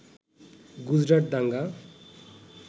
গুজরাট দাঙ্গা